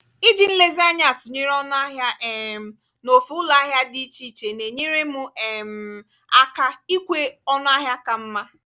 iji nlezianya atụnyere ọnụ ahịa um n'ofe ụlọ ahịa dị iche iche na-enyere m um aka ikwe ọnụ ahịa ka mma.